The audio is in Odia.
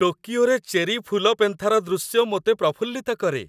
ଟୋକିଓରେ ଚେରି ଫୁଲପେନ୍ଥାର ଦୃଶ୍ୟ ମୋତେ ପ୍ରଫୁଲ୍ଲିତ କରେ